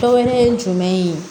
Dɔ wɛrɛ ye jumɛn ye